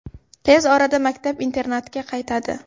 Tez orada maktab-internatga qaytadi.